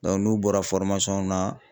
n'u bɔra na